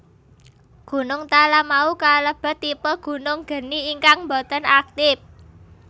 Gunung Talamau kalebet tipe gunung geni ingkang boten aktip